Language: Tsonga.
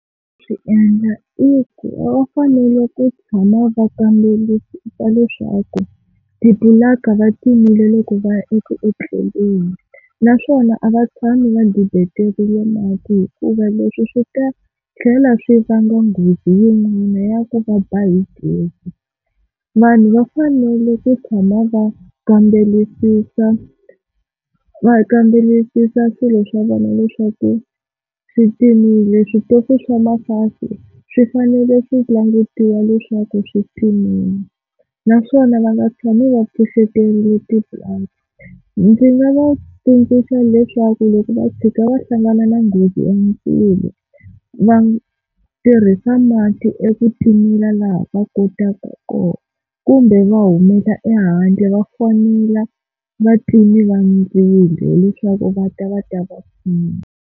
Swi endla i ku va fanele ku tshama va kamberisa leswaku ti-plug-a va timile loko va ya eku tleleni, naswona a va tshami va dibetele mati hikuva leswi swi ta tlhela swi vanga nghozi yin'wana ya ku va ba hi gezi. Vanhu va fanele ku tshama va kambelisisa va kambelisisa swilo swa vona leswaku swi timile switofu, switofu swa ma-gas-i swi fanele ku langutiwa leswaku switimile naswona va nga tshami va pfuxeterile ti-plug. Ndzi nga va tsundzuxa leswaku loko va fika va hlangana na nghozi ya mindzilo va tirhisa mati eku timela laha va kotaka kona kumbe va humela ehandle va fonela vatimeli va ndzilo hileswaku va ta va ta va pfuna.